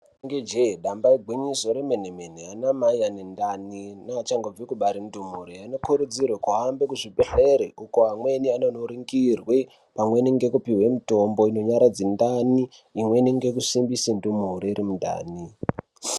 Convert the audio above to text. Inenge jee damba igwinyiso remenemene anamai ane ndani nevachangobve kubare ndumure anokurudzirwe kuhambe kuzvibhehlere kuko amweni anono ningirwe pamweni nekupuwe mitombo inonyaradze ndani imweni ngekusimbise ndumure iri mundani.